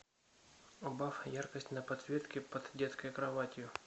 убавь яркость на подсветке под детской кроватью